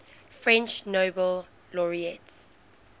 french nobel laureates